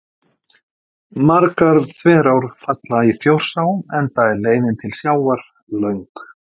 Margar þverár falla í Þjórsá enda er leiðin til sjávar löng.